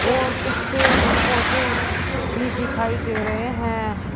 और कुछ पेड़ पौधे भी दिखाई दे रहे हैं।